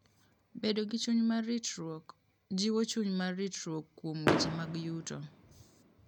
Bedo gi chuny mar ritruok: Jiwo chuny mar ritruok kuom weche mag yuto.